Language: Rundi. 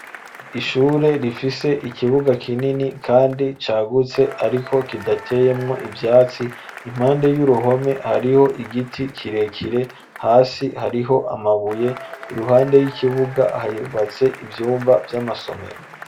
Ishure rifise ikibuga kinini kandi cagutse ariko kidateyemwo ivyatsi impande y'uruhome hariho igiti kirekire hasi hariho amabuye iruhande y'ikibuga hubatse ivyumba vy'amasomero.